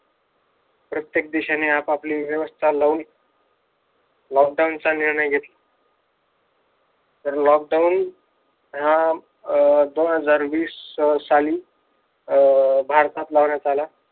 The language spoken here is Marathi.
प्रत्येक देशाने आपापली व्यवस्था लावली लॉकडाऊनचा निर्णय घेतला तर लॉकडाऊन हा अह दोन हजार वीस साली अह भारतात लावण्यात आला.